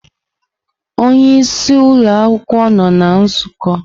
Onye isi ụlọ akwukwuo nọ na nzukọ.